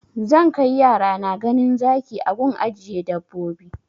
Zan kai yarana ganin zaki a gun ajiye dabbobi